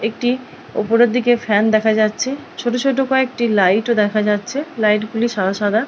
একটি ওপরের দিকে ফ্যান দেখা যাচ্ছে ছোট ছোট কতগুলি লাইট দেখা যাচ্ছে লাইট গুলি সাদা সাদা ।